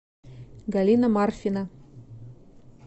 галина марфина